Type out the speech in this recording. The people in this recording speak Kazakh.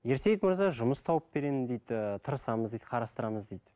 ерсейіт мырза жұмыс тауып беремін дейді ыыы тырысамыз дейді қарастырамыз дейді